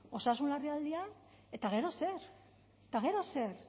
osasun larrialdian eta gero zer eta gero zer